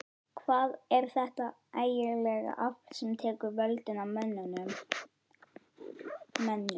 Hvað er þetta ægilega afl sem tekur völdin af mönnum?